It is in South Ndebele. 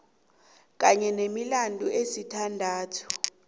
kanye nemilandu esithandathu